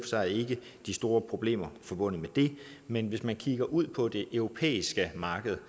sig ikke de store problemer forbundet med det men hvis man kigger ud på det europæiske marked